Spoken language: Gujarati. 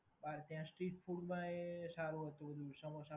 ત્યાં સ્ટ્રીટ ફૂડમાં એ સારું હતું. સમોસાં